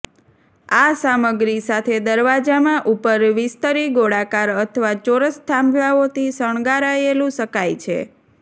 આ સામગ્રી સાથે દરવાજામાં ઉપર વિસ્તરી ગોળાકાર અથવા ચોરસ થાંભલાઓથી શણગારાયેલું શકાય છે